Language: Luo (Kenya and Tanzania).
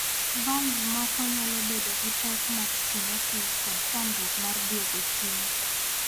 Valv moko nyalo bedo gi pek mag stenosis kod chandruok mar dwogo chien.